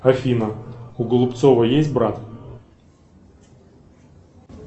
афина у голубцова есть брат